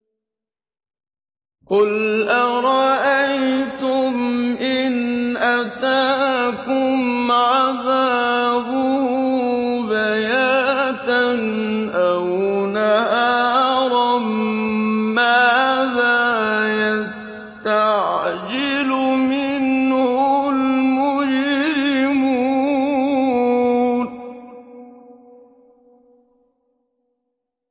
قُلْ أَرَأَيْتُمْ إِنْ أَتَاكُمْ عَذَابُهُ بَيَاتًا أَوْ نَهَارًا مَّاذَا يَسْتَعْجِلُ مِنْهُ الْمُجْرِمُونَ